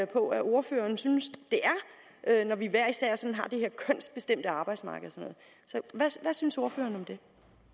på at ordføreren synes det er når vi hver især sådan har det her kønsbestemte arbejdsmarked hvad synes ordføreren